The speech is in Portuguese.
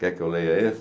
Quer que eu leia esse?